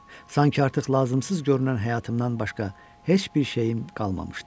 Sanki artıq lazımsız görünən həyatımdan başqa heç bir şeyim qalmamışdı.